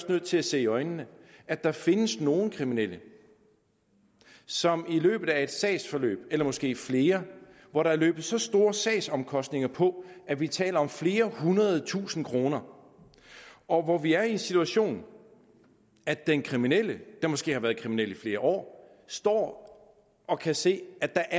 nødt til at se i øjnene at der findes nogle kriminelle som i løbet af et sagsforløb eller måske flere hvor der er løbet så store sagsomkostninger på at vi taler om flere hundrede tusinde kroner og hvor vi er i den situation at den kriminelle der måske har været kriminel i flere år står og kan se at der